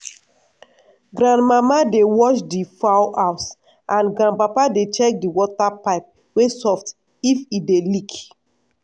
grandmama dey watch di fowl house and grandpapa dey check di water pipe wey soft if e dey leak.